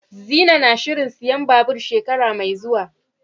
Zinai na shirin siyan babur shekara mai zuwa.